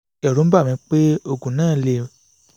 ẹ̀rù ń bà mí pé oògùn náà lè